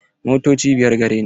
Motoci biyar gare ni.